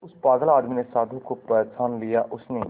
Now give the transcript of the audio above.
उस पागल आदमी ने साधु को पहचान लिया उसने